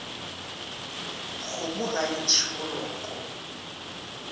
kgomo ga e ntšhe boloko